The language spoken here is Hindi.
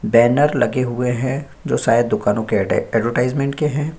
बैनर लगे हुए हैं शायद जो दुकानों के एडवर्टाइजमेंट के हैं।